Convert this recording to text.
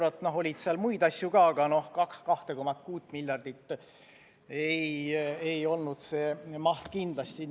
Seal oli veel asju, aga 2,6 miljardit ei tule sealt kindlasti kokku.